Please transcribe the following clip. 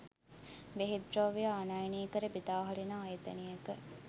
බෙහෙත් ද්‍රව්‍ය ආනයනය කර බෙදාහරින ආයතනයක